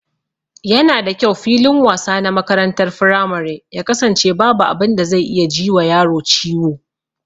Yana da kyau filin wasa na makarantar firamare ya kasance babu abin da zai iya ji wa yaro ciwo